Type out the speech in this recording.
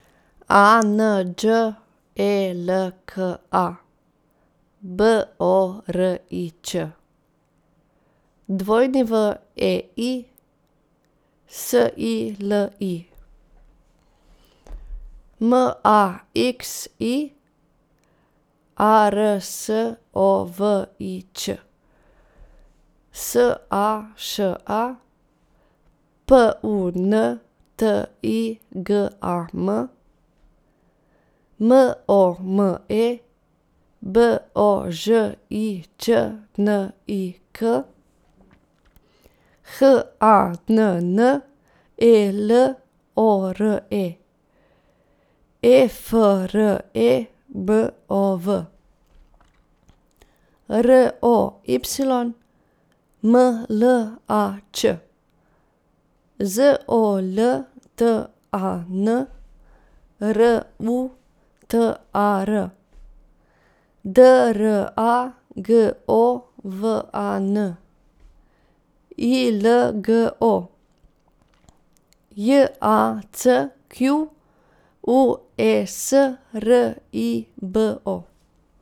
A N Đ E L K A, B O R I Č; W E I, S I L I; M A X I, A R S O V I Ć; S A Š A, P U N T I G A M; M O M E, B O Ž I Č N I K; H A N N E L O R E, E F R E M O V; R O Y, M L A Č; Z O L T A N, R U T A R; D R A G O V A N, I L G O; J A C Q U E S, R I B O.